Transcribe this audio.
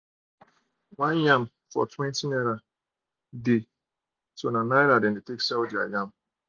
one yam for twenty naira they naira they take sell um their yam